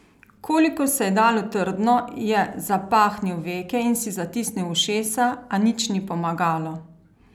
Kolikor se je dalo trdno, je zapahnil veke in si zatisnil ušesa, a nič ni pomagalo.